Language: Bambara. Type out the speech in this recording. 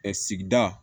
Ɛ sigida